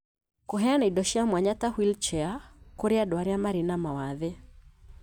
Kũheana indo cia mwanya ta wheelchair kũri andũ arĩa marĩ na mawathe